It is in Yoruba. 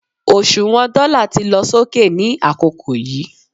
òṣùwàn dóla ti lọ sókè ni àkókò yíì